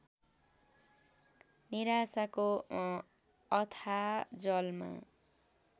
निराशाको अथाह जलमा